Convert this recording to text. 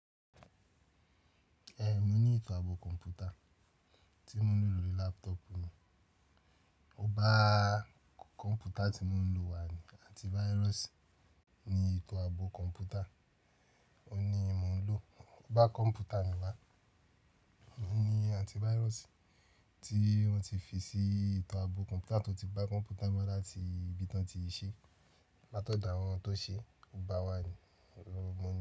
Ẹ n mo ní ìtàn ààbò kọ̀ǹpútà tí mo ń lò lórí laptop mi. O bá kọ̀ǹpútà tí mo ń lò wá ni antivirus ní ìtàn ààbò kọ̀ǹpútà. Ó ní mò ń lò. O bá kọ̀ǹpútà mi wá, ni antivirus tí wọ́n ti fi sí ìtàn ààbò kọ̀ǹpútà tó ti bá kọ̀ǹpútà wá láti ibi tí wọ́n ti ṣẹ́, lá tọ dá àwọn tó ṣe, o bá wá ni, mo.